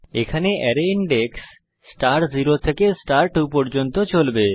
এখানে array index star 0 থেকে star 2 পর্যন্ত হবে